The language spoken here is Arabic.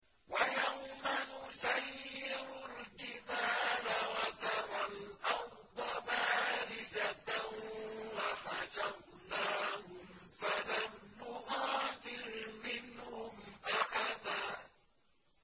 وَيَوْمَ نُسَيِّرُ الْجِبَالَ وَتَرَى الْأَرْضَ بَارِزَةً وَحَشَرْنَاهُمْ فَلَمْ نُغَادِرْ مِنْهُمْ أَحَدًا